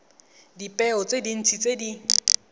dipeo tse dintsi tse di